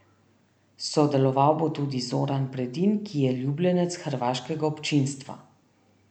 Sodeloval bo tudi Zoran Predin, ki je ljubljenec hrvaškega občinstva.